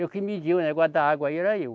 Eu que media o negócio da água aí era eu.